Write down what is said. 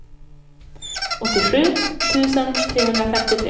åttiosju tusen trehundrafemtiotre